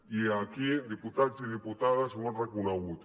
i aquí diputats i diputades ho han reconegut